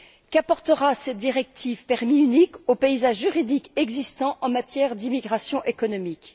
Qu'apportera cette directive permis unique au paysage juridique existant en matière d'immigration économique?